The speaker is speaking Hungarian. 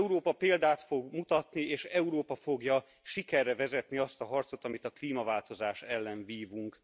Európa példát fog mutatni, és Európa fogja sikerre vezetni azt a harcot, amit a klímaváltozás ellen vívunk.